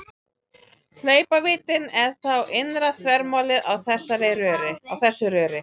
Hlaupvíddin er þá innra þvermálið á þessu röri.